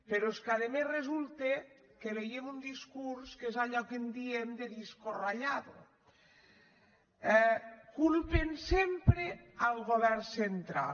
però és que a més resulta que veiem un discurs que és allò que en diem de disco rallado culpen sempre el govern central